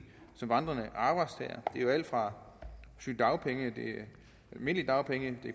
som vandrende arbejdstager det er jo alt fra sygedagpenge almindelige dagpenge